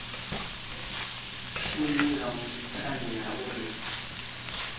shumi nga nthani ha uri